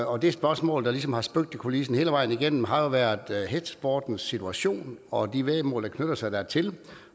og det spørgsmål der ligesom har spøgt i kulissen hele vejen igennem har jo været hestesportens situation og de væddemål der knytter sig dertil